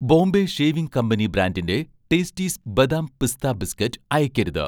Bombay shaving company' ബ്രാൻഡിന്‍റെ 'tasties' ബദാം പിസ്ത ബിസ്കറ്റ് അയക്കരുത്